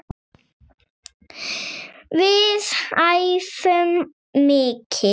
Við æfum mikið.